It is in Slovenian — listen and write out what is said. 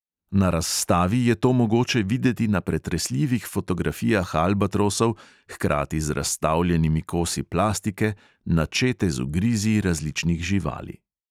Na razstavi je to mogoče videti na pretresljivih fotografijah albatrosov, hkrati z razstavljenimi kosi plastike, načete z ugrizi različnih živali.